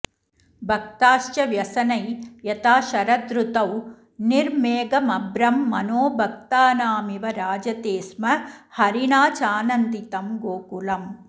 भक्ताश्च व्यसनै यथा शरदृतौ निर्मेघमभ्रं मनो भक्तानामिव राजते स्म हरिणा चानन्दितं गोकुलम्